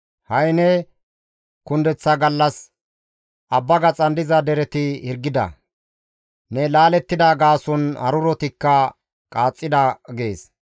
Ha7i ne kundeththa gallas abba gaxan diza dereti hirgida; ne laalettida gaason harurotikka qaaxxida› gees.